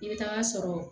I bɛ taa sɔrɔ